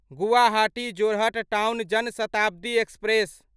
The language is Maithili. Guwahati Jorhat town Jan Shatabdi express